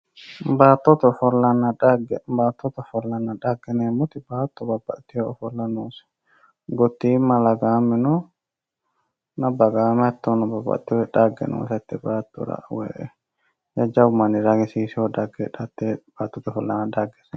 Baattote ofollanna dhagge ,baattote ofollanna dhegge yineemmoti baatto ofolla noose, gotima ,lagame no bagame hattono dhagge noote hatte baattora woyi jajjabbu ragisiisino dhagge heedhano hate baattote ofollanna dhaggete